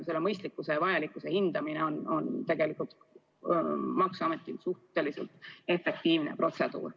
Selle mõistlikkuse ja vajalikkuse hindamine on tegelikult maksuametis suhteliselt efektiivne protseduur.